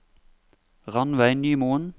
Ranveig Nymoen